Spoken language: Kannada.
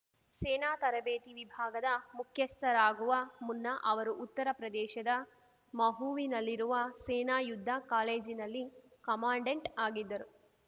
ಸೇನಾ ತರಬೇತಿ ವಿಭಾಗದ ಮುಖ್ಯಸ್ಥರಾಗುವ ಮುನ್ನ ಅವರು ಉತ್ತರಪ್ರದೇಶದ ಮಹೂವಿನಲ್ಲಿರುವ ಸೇನಾ ಯುದ್ಧ ಕಾಲೇಜಿನಲ್ಲಿ ಕಮಾಂಡೆಂಟ್‌ ಆಗಿದ್ದರು